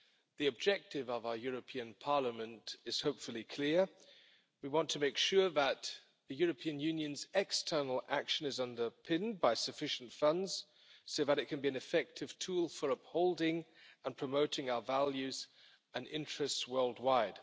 The objective of our European Parliament is hopefully clear. We want to make sure that the European Union's external action is underpinned by sufficient funds so that it can be an effective tool for upholding and promoting our values and interests worldwide.